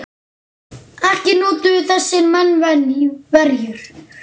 Ekki notuðu þessir menn verjur.